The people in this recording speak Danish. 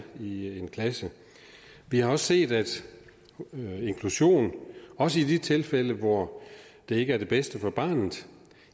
i en klasse vi har også set at inklusion også i de tilfælde hvor det ikke er det bedste for barnet